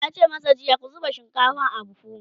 yace masu jiya " ku zuba shinkafan a buhu!"